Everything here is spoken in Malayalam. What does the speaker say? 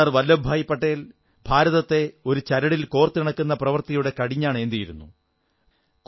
സർദ്ദാർ വല്ലഭഭായി പട്ടേൽ ഭാരതത്തെ ഒരു ചരടിൽ കോർത്തിണക്കുന്ന പ്രവൃത്തിയുടെ കടിഞ്ഞാണേന്തിയിരുന്നു